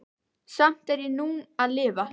Samt er ég nú að lifa.